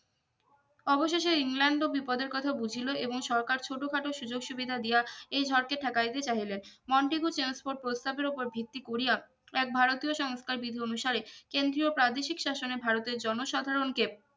অবশেষে ইংল্যান্ড ও বিপদের কথা বুঝিল এবং সরকার ছোট খাটো সুযোগ সুবিধা দিয়া এই ঝড়কে ঠেকাইতে চাইলেন মন্টেগু ট্রান্সপোর্ট প্রস্তাবের উপর ভিত্তি করিয়া এক ভারতীয় সংস্থায় কেন্দ্রীয় প্রাদেশিক শাসনে ভারতের জনসাধারন কে